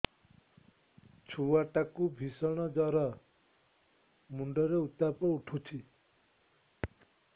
ଛୁଆ ଟା କୁ ଭିଷଣ ଜର ମୁଣ୍ଡ ରେ ଉତ୍ତାପ ଉଠୁଛି